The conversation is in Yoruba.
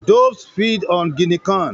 Doves feed on Guinea corn.